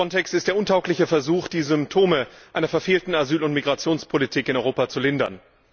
Frontex ist der untaugliche Versuch, die Symptome einer verfehlten Asyl und Migrationspolitik in Europa zu lindern.